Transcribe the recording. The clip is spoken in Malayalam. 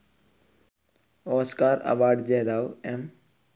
ഓസ്കാർ അവാർഡ്‌ ജേതാവ് എ.